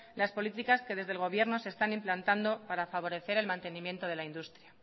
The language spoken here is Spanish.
las políticas que desde el gobierno se están implantando para favorecer el mantenimiento de la industria